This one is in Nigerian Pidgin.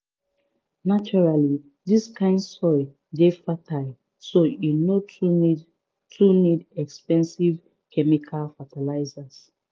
naturally dis kind soil dey fertile so e no too need too need expensive chemical fertilizers.